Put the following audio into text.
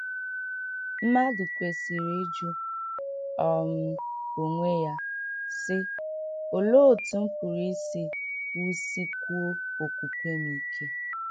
Mmàdù kwesìrị ịjụ um onwe ya, sị: ‘Òlee otú m pụrụ isi wusịkwùo okwùkwè m ike?